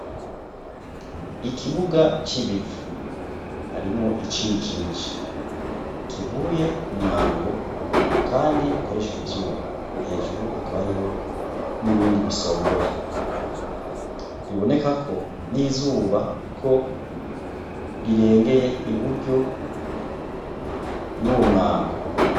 Ikibuga cibivu harimwo icijiji kivuye kumwango kandi ukoreshejwe ivyuma. hejuru Hakaba hariho nibindi bisongoye biboneka ko nizuba ko rirengeye uburyo y'umwango.